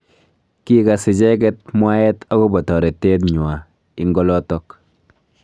Kikas icheket mwaet akobo toretet nywa ing olotok.